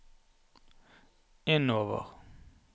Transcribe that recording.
innover